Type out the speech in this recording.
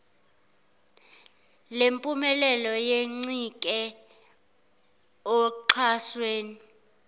lempumelelo yencike oxhasweni